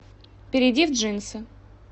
перейди в джинсы